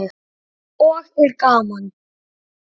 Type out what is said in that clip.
Og er gaman?